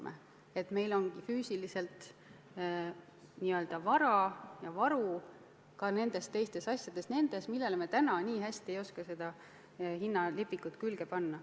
Meil peab olema selles mõttes füüsiliselt n-ö vara ja varu ka nende asjade puhul, millele me täna nii hästi ei oska selle hinna lipikut külge panna.